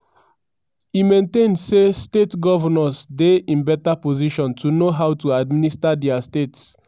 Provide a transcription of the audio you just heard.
e maintain say state govnors dey in beta position to know how to administer dia states.